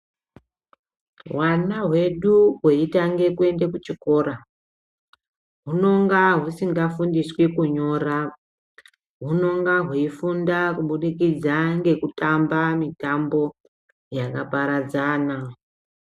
Hwana hwedu hweitanga kuende kuchikora hunonga husingafundiswi kunyora hunenge hweifunda kubudikidza ngekutamba mitambo yakaparadzana.